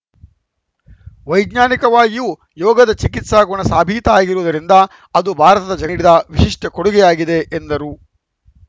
ವೈಜ್ಞಾನಿಕವಾಗಿಯೂ ಯೋಗದ ಚಿಕಿತ್ಸಾ ಗುಣ ಸಾಬೀತಾಗಿರುವುದರಿಂದ ಅದು ಭಾರತ ಜಗಡಿದ ವಿಶಿಷ್ಟಕೊಡುಗೆ ಆಗಿದೆ ಎಂದರು